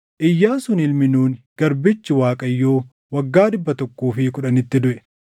Iyyaasuun ilmi Nuuni garbichi Waaqayyoo waggaa dhibba tokkoo fi kudhanitti duʼe.